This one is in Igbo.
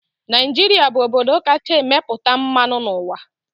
Naijiria bụ obodo kacha emepụta mmanụ n'ụwa.